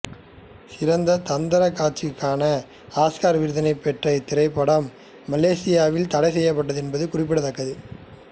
சிறந்த தந்திரக் காட்சிகளிற்கான ஆஸ்கார் விருதினைப் பெற்ற இத்திரைப்படம் மலேசியாவில் தடைசெய்யப்பட்டதென்பதும் குறிப்பிடத்தக்கது